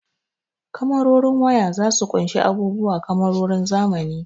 Kamarorin waya zasu ƙunshi abubuwa kamarorin zamani.